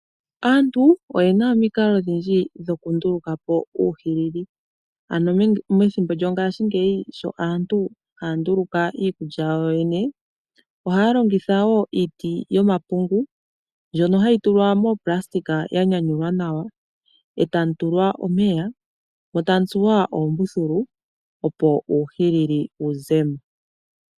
Aantu oye na omikalo odhindji dhoku nduluka po uuhilili, ano methimbo lyongaashi ngeyi sho aantu haa nduluka iikulya yawo yo yene, oha ya longitha wo iiti yo mapungu ndjono ha yi tulwa moo nayilona ya nyanyulwa nawa, eta mu tulwa omeya, mo tamu tsuwa oombuthulu opo uuhilili wu zemo.